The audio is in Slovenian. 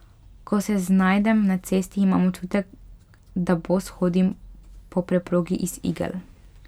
Ko se znajdem na cesti, imam občutek, da bos hodim po preprogi iz igel.